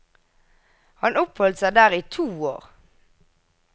Han oppholdt seg der i to år.